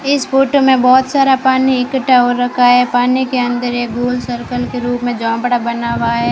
इस फोटो मे बहोत सारा पानी इक्कठा हो रखा है पानी के अंदर एक बूंद सर्कल के रूप मे जाेमबाड़ा बना हुआ है।